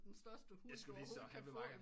Den største hund du overhovedet kan få